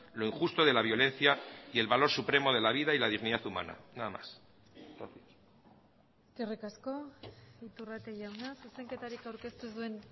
lo injusto de la violencia y el valor supremo de la vida y la dignidad humana nada más eskerrik asko iturrate jauna zuzenketarik aurkeztu ez duen